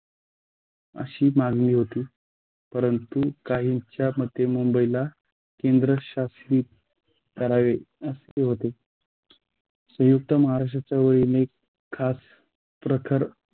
अशी मागणी होती परंतु काहींच्या मते मुंबईला केंद्रशासित करावे असे होते. संयुक्त महाराष्ट्राच्या ओळीने खास प्रकार